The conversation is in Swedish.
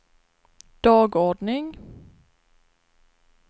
dagordning